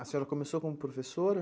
A senhora começou como professora?